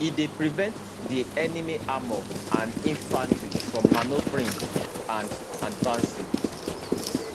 e dey prevent di enemy armour and infantry from manoeuvring and advancing